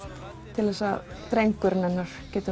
til að drengurinn hennar geti